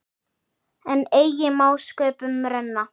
En eigi má sköpum renna.